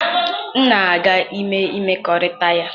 M na-aga ime mmekọrịta ya.